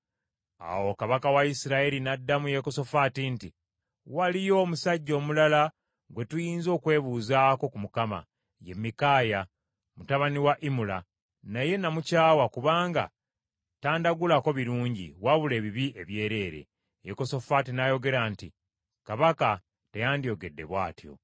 Awo kabaka wa Isirayiri n’addamu Yekosafaati nti, “Waliyo omusajja omulala gwe tuyinza okwebuuzaako ku Mukama , ye Mikaaya mutabani wa Imula, naye namukyawa kubanga tandagulako birungi, wabula ebibi ebyereere.” Yekosafaati n’ayogera nti, “Kabaka teyandiyogedde bw’atyo.”